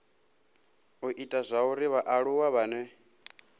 u ita zwauri vhaaluwa vhane